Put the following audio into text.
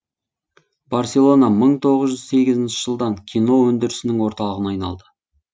барселона мың тоғыз жүз сегізінші жылдан кино өндірісінің орталығына айналды